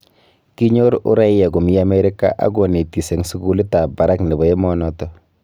Kinyoor uraia komii Amerika ak konetis eng sugulit ab barak nebo emenoto